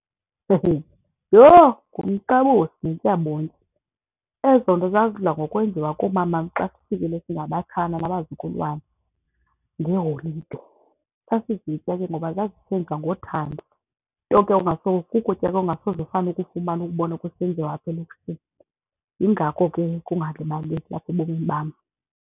Yho, ngumqabusi yintyabontyi. Ezo nto zazidla ngokwenziwa kumamam xa sifikile singabatshana nabazukulwana ngeeholide. Sasizitya ke ngoba zazisenziwa ngothando nto ke kukutya ke ongasoze ufane ukufumane ukubone kusenziwa apha elokishini, yingako ke kungalibaleki apha ebomini bam.